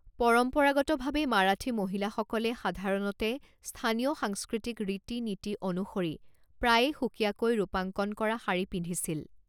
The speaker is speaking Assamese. পৰম্পৰাগতভাৱে মাৰাঠী মহিলাসকলে সাধাৰণতে স্থানীয় সাংস্কৃতিক ৰীতি নীতি অনুসৰি প্ৰায়ে সুকীয়াকৈ ৰূপাঙ্কণ কৰা শাড়ী পিন্ধিছিল।